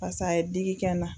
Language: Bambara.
a ye digi kɛ n na.